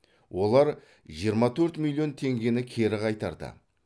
олар жиырма төрт миллион теңгені кері қайтарды